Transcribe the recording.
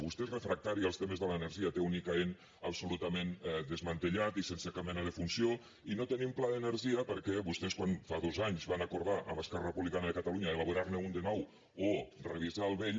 vostè és refractari als temes de l’energia té un icaen absolutament desmantellat i sense cap mena de funció i no tenim pla d’energia perquè vostès quan fa dos anys van acordar amb esquerra republicana de catalunya elaborarne un de nou o revisar el vell